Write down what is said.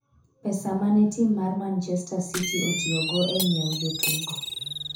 pesa mane tim mar manchester city otiyogo e nyiewo jotugo